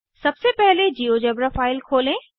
सबसे पहले GeoGebra file खोलें